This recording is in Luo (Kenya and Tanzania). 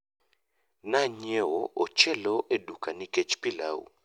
Nanyiewo ochelo e duka nikech pilau